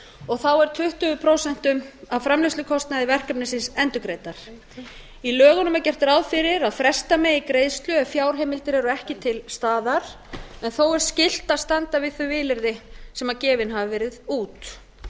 og þá er tuttugu prósent af framleiðslukostnaði verkefnisins endurgreiddar í lögunum er gert ráð fyrir að fresta megi greiðslu ef fjárheimildir eru ekki til staðar en þó er skylt að standa við þau vilyrði sem gefin hafa verið út